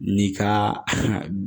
N'i ka